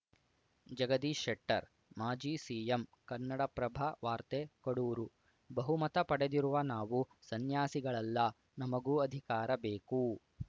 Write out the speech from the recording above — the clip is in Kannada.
ಜಗದೀಶ್‌ ಶೆಟ್ಟರ್‌ ಮಾಜಿ ಸಿಎಂ ಕನ್ನಡಪ್ರಭ ವಾರ್ತೆ ಕಡೂರು ಬಹುಮತ ಪಡೆದಿರುವ ನಾವು ಸನ್ಯಾಸಿಗಳಲ್ಲ ನಮಗೂ ಅಧಿಕಾರ ಬೇಕು